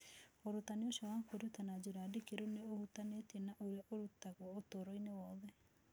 Ũrutani ũcio wa kwĩruta na njĩra ndikĩru nĩ ũhutanĩtie na ũrĩa ũrutagwo ũtũũro wothe.